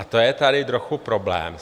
A to je tady trochu problém.